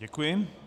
Děkuji.